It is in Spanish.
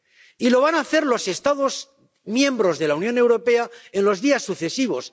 Y lo van a hacer los Estados miembros de la Unión Europea en los días sucesivos.